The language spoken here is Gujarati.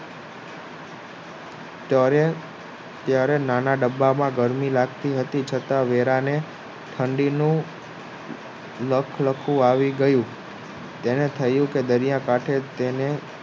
ત્યારે નાના ડબ્બા માં ગરમી લાગતી હતી છતાં વેરા ને ઠંડી નું લખલખું આવું ગયું તેને થયું કે દરિયા કાંઠે તેને